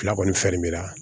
Fila kɔni fɛn mi na